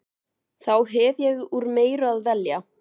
Þá hef ég úr meiru að velja.